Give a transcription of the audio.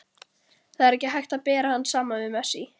Það er ekki hægt að bera hann saman við Messi.